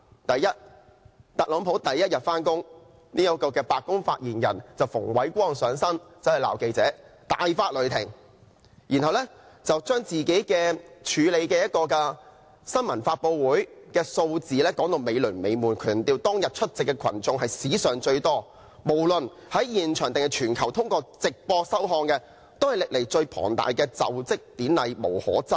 第一，特朗普第一天上班，這位白宮發言人便像馮煒光般大發雷霆，責罵記者，然後把自己處理的一個新聞發布會的有關數字說得"美輪美奐"，強調無論現場還是全球通過直播收看的觀眾都是史上最多，是歷來最龐大的就職典禮，無可爭議。